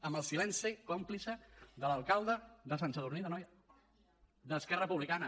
amb el silenci còmplice de l’alcalde de sant sadurní d’anoia d’esquerra republicana